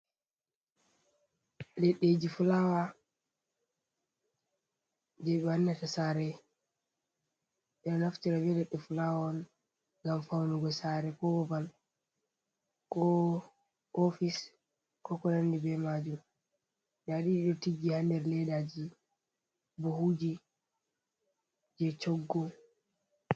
Leɗɗeji fulawa je ɓe wannata sare. Ɓeɗo naftira be leɗɗe fulawa on ngam faunugo sare, ko babal, ko ofice, ko ko nandi be majum. Nda ɗiɗo ɗo tiggi ha nder leddaji, bohuji, je choggu.